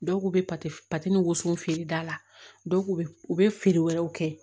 Dɔw k'u bɛ woson feere da la dɔw bɛ u bɛ feere wɛrɛw kɛ